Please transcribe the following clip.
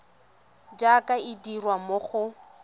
jaaka e dirwa mo go